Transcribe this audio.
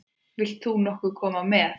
Vilt þú nokkuð koma með?